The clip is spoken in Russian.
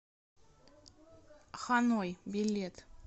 ханой билет